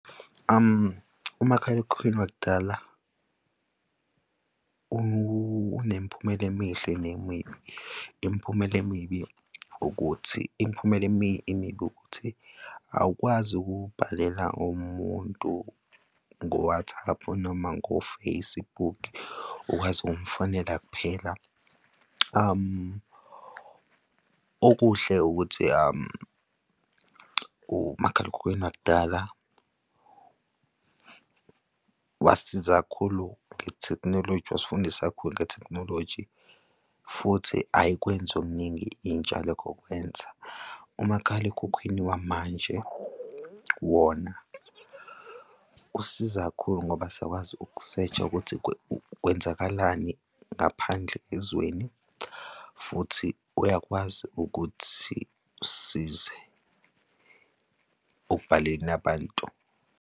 Umakhalekhukhwini wakudala unemiphumela emihle nemibi. Imiphumela emibi ukuthi imiphumela emibi ukuthi awukwazi ukubhalela umuntu ngo-WhatsApp noma ngo-Facebook ukwazi ukumfonela kuphela. Okuhle ukuthi umakhalekhukhwini wakudala wasiza kakhulu ngethekhnoloji wasifundisa kakhulu ngethekhnoloji futhi ayikwenzi okuningi intsha lokho kwenza. Umakhalekhukhwini wamanje wona usiza kakhulu ngoba siyakwazi ukusesha ukuthi kwenzakalani ngaphandle ezweni futhi uyakwazi ukuthi usize ekubhaleleni abantu.